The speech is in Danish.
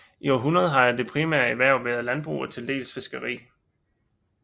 I århundreder har det primære erhverv været landbrug og tildels fiskeri